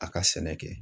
A ka sɛnɛ kɛ